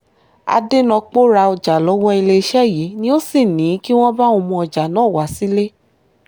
adẹnopó ra ọjà lọ́wọ́ iléeṣẹ́ yìí ni ò sì ní kí wọ́n bá òun mú ọjà náà wá sílé